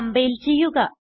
compile ചെയ്യുക